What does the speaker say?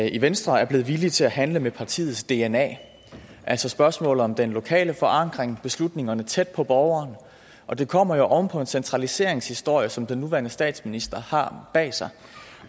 i venstre er blevet villige til at handle med partiets dna altså spørgsmålet om den lokale forankring beslutningerne tæt på borgeren og det kommer jo oven på en centraliseringshistorie som den nuværende statsminister har bag sig